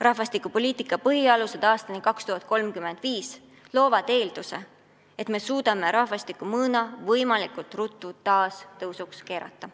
"Rahvastikupoliitika põhialused aastani 2035" loob eelduse, et me suudame rahvastikumõõna võimalikult ruttu taas tõusuks keerata.